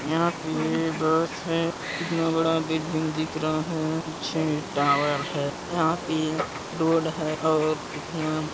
यहाँ पे बस है कितना बड़ा बिल्डिंग दिख रहा है पीछे टावर है यहाँ पे रोड है और कितना--